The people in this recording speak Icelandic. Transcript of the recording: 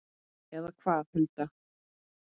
Eða hvað, Hulda?